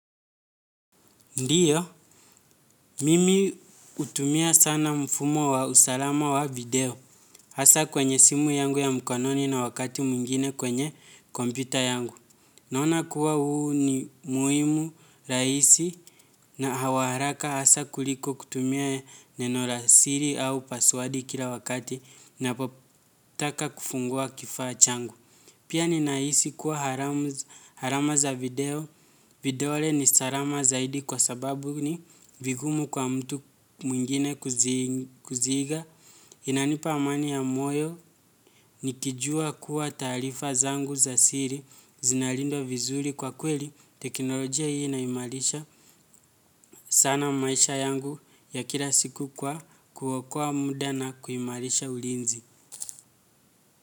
Ndiyo, mimi hutumia sana mfumo wa usalama wa video, hasaa kwenye simu yangu ya mkononi na wakati mwingine kwenye kompyuta yangu. Naona kuwa huu ni muhimu rahisi na hawa haraka hasaa kuliko kutumia neno la siri au paswadi kila wakati napotaka kufungua kifaa changu. Pia ninahisi kuwa alama za video, vidole ni salama zaidi kwa sababu ni vigumu kwa mtu mwingine kuziiga. Inanipa amani ya moyo, nikijua kuwa taarifa zangu za siri, zinalindwa vizuri kwa kweli, teknolojia hii inaimarisha sana maisha yangu ya kila siku kwa kuokoa muda na kuimarisha ulinzi.